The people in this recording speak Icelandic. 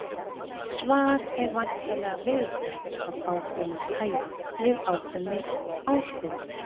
Svar er væntanlega viðbragð af ákveðnu tæi við ákveðinni áskorun.